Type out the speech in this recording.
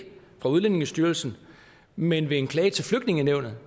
af udlændingestyrelsen men ved en klage til flygtningenævnet